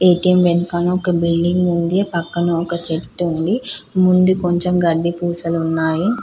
ATM వెనకాల ఒక building ఉంది పక్కన ఒక చెట్టు ఉంది ముందు కొంచెం గడ్డి పూసలు ఉన్నాయి.